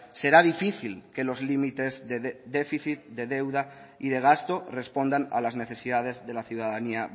será difícil que los límites de déficit de deuda y de gasto respondan a las necesidades de la ciudadanía